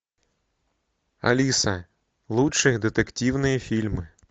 алиса лучшие детективные фильмы